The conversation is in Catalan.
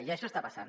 i això està passant